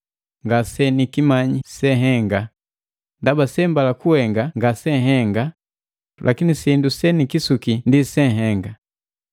Ngase nikimanyi sehenga, ndaba sembala kuhenga ngase mbala kuhenga lakini sindu se nikisuki ndi se nihenga.